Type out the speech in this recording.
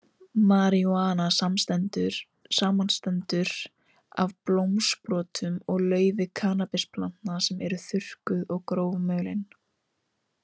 Marijúana samanstendur af blómsprotum og laufi kannabisplantna sem eru þurrkuð og grófmulin.